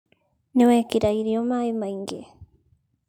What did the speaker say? Nĩ wekĩra irio maĩ maingĩ.